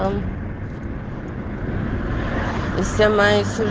смс